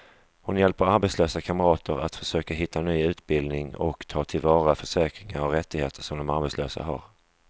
Hon hjälper arbetslösa kamrater att försöka hitta ny utbildning och ta till vara försäkringar och rättigheter som de som arbetslösa har.